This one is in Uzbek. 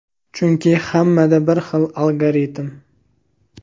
Chunki hammada bir xil algoritm.